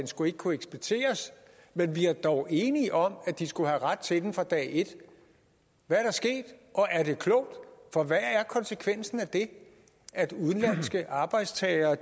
skulle kunne eksporteres men vi var dog enige om at de skulle have ret til den fra dag et hvad er der sket og er det klogt for hvad er konsekvensen af at udenlandske arbejdstagere